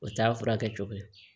O t'a furakɛ cogo ye